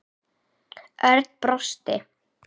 Örn brosti.